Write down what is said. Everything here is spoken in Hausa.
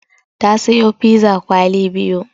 Ta sayo piza kwali biyu.